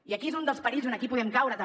i és un dels perills on aquí podem caure també